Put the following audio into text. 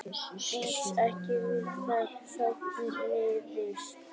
Býst ekki við að sátt náist